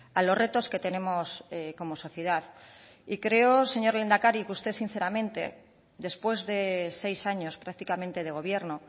a los retos que tenemos como sociedad y creo señor lehendakari que usted sinceramente después de seis años prácticamente de gobierno